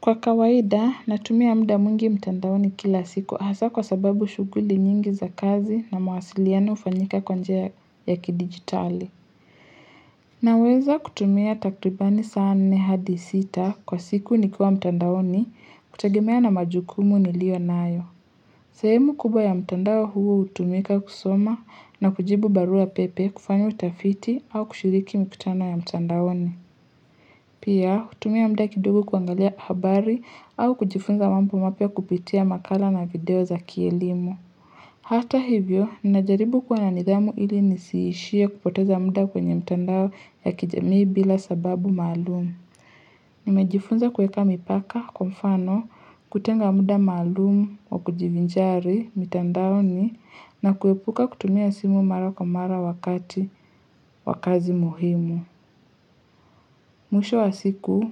Kwa kawaida natumia muda mwingi mtandaoni kila siku hasa kwa sababu shughuli nyingi za kazi na mawasiliano hufanyika kwa njia ya kidigitali Naweza kutumia takribani saa nne hadi sita kwa siku nikiwa mtandaoni kutegemea na majukumu niliyonayo sehemu kubwa ya mtandao huo hutumika kusoma na kujibu barua pepe kufanya utafiti au kushiriki mikutano ya mtandaoni Pia, kutumia muda kidogo kuangalia habari au kujifunza mambo mapya kupitia makala na video za kielimu. Hata hivyo, ninajaribu kwa na nidhamu ili nisiishie kupoteza muda kwenye mtandao ya kijamii bila sababu maalumu. Nimejifunza kueka mipaka, kwa mfano, kutenga muda maalumu wa kujivinjari, mtandaoni, na kuepuka kutumia simu mara kwa mara wakati, wa kazi muhimu. Mwisho wa siku,